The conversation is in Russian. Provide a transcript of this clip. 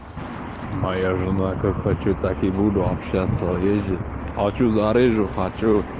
моя жена как хочу так и буду общаться ездить хочу зарежу хочу